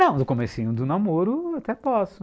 Não, do comecinho do namoro até posso.